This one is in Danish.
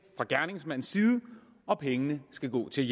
fra gerningsmandens side og pengene skal gå til